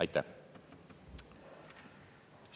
Aitäh!